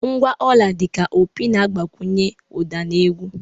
Ngwa ọla, dị ka opi na-agbakwunye ụda na egwu.